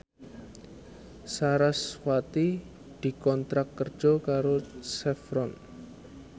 sarasvati dikontrak kerja karo Chevron